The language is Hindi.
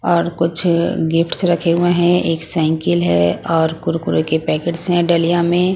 और कुछ गिफ्ट्स रखे हुए हैं एक साईकल है और कुरकुरे के पैकेट्स हैं डलिया में.